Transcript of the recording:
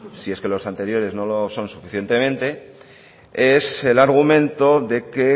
si es que los anteriores no lo son suficientemente es el argumento de que